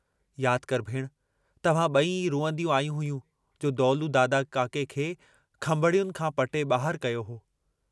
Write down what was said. याद करि भेणु तव्हां बई ई रुअंदियूं आयूं हुयूं जो दौलू दादा काके खे खंभणयुनि खां पटे बाहिर कयो हो।